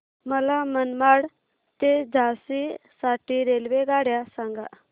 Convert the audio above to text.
मला मनमाड ते झाशी साठी रेल्वेगाड्या सांगा